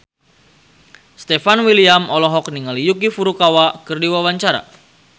Stefan William olohok ningali Yuki Furukawa keur diwawancara